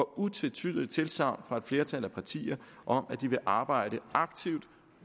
utvetydigt tilsagn fra et flertal af partierne om at de vil arbejde aktivt